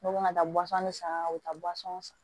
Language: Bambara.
Dɔw bɛ na taa san u bɛ taa san